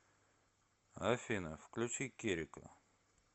афина включи керека